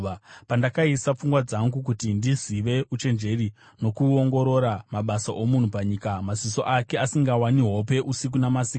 Pandakaisa pfungwa dzangu kuti ndizive uchenjeri nokuongorora mabasa omunhu panyika, maziso ake asingawani hope usiku namasikati,